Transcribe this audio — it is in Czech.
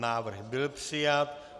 Návrh byl přijat.